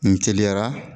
N teliyara